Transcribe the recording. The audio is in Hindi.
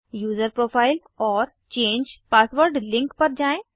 यूज़र प्रोफाइल और चेंज पासवर्ड लिंक पर जाएँ